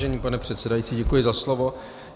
Vážený pane předsedající, děkuji za slovo.